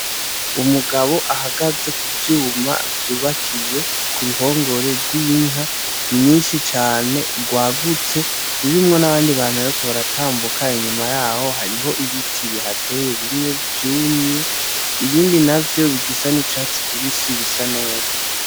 Umugabo ahagaze kuvyuma vyubakiye k'uruhongore rw'inka nyinshi cane rwagutse, rurimwo n'abandi bantu bariko baratambuka inyuma yaho hariho ibiti bihateye bimwe vyumye, ibindi navyo bisa n'icatsi kibisi bisa neza.